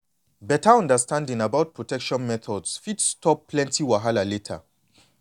better understanding about protection methods fit stop plenty wahala later.